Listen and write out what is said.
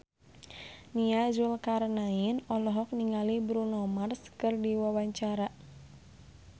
Nia Zulkarnaen olohok ningali Bruno Mars keur diwawancara